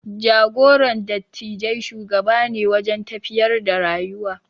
Jagoran dattijai shugaba ne wajen tafiyar da rayuwa.